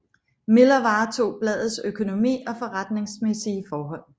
Miller varetog bladets økonomi og forretningsmæssige forhold